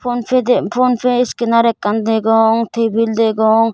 phone pay iskaner ekkan degong tebil degong.